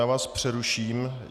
Já vás přeruším.